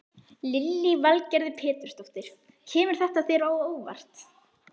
Lillý Valgerður Pétursdóttir: Kemur þetta þér á óvart?